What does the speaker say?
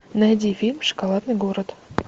найди фильм шоколадный город